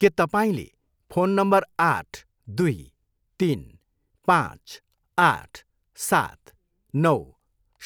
के तपाईँँले phone number आठ, दुई, तिन, पाँच, आठ, सात, नौ